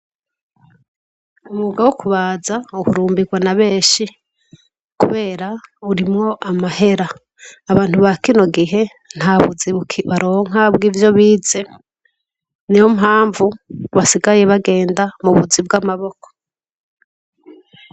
Umwuga wo kubaza uhurumbirwa n'a benshi kubera jarimwo amahera ,abantu bakino gihe ntabuzi baronka bwivyo bize, niyo mpamvu basigaye bagenda mubuzi bw'amaboko.